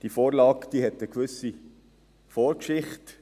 Diese Vorlage hat eine gewisse Vorgeschichte.